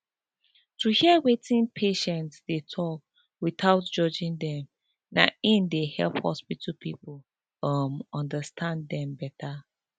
to hear wetin patients dey talk without judging dem na im dey help hospital people um understand dem better